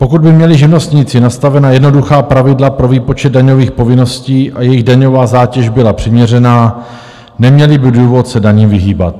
Pokud by měli živnostníci nastavena jednoduchá pravidla pro výpočet daňových povinností a jejich daňová zátěž byla přiměřená, neměli by důvod se daním vyhýbat.